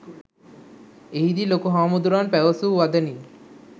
එහිදී ලොකු හාමුදුරුවන් පැවසූ වදනින්